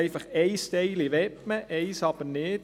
Einen Teil möchte man und einen Teil nicht.